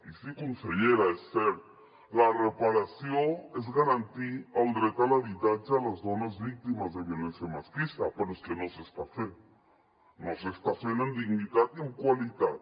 i sí consellera és cert la reparació és garantir el dret a l’habitatge a les dones víctimes de violència masclista però és que no s’està fent no s’està fent amb dignitat ni amb qualitat